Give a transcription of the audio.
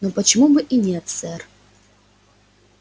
но почему бы и нет сэр